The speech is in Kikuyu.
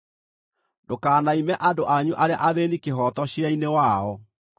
“Ndũkanaime andũ anyu arĩa athĩĩni kĩhooto ciira-inĩ wao.